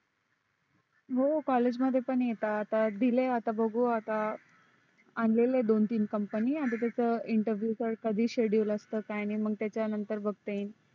हो college मध्ये पण येतात दिले आता बघू आता आणलेल दोन तीन company तर interview च कधी schedule असत कधी नाही मग त्याच्यानंतर बघता येईल.